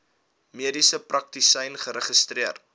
mediese praktisyn geregistreer